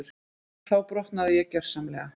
Þá brotnaði ég gjörsamlega.